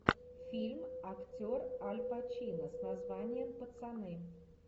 фильм актер аль пачино с названием пацаны